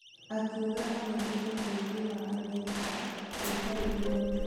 Akiuga athondeke bũrũri wa Amerika gũtirĩ igoti.